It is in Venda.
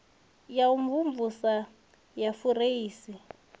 ha u mvumvusa ya fureisi